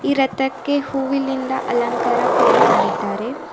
ರಥಕ್ಕೆ ಹೂವಿಲಿಂದ ಅಲಂಕಾರ ಕೂಡ ಮಾಡಿದ್ದಾರೆ.